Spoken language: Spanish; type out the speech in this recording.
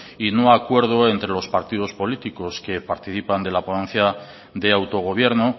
y no acuerdo entre los partidos políticos que participan de la ponencia de autogobierno